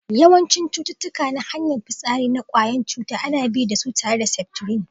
Yawancin cututtuka na hanyar fisari na kwayan cuta ana bi da su tare da septrin.